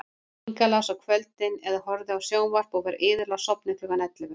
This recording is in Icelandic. Inga las á kvöldin eða horfði á sjónvarp og var iðulega sofnuð klukkan ellefu.